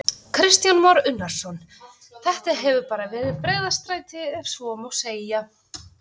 Kristján Már Unnarsson: Þetta hefur bara verið breiðstræti ef svo má segja?